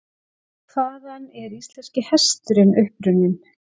Hvaðan er íslenski hesturinn upprunninn?